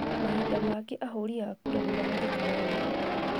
Mahinda mangĩ ahũri a kura nĩmahũthĩkaga ũru